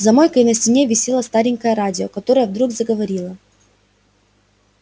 за мойкой на стене висело старенькое радио которое вдруг заговорило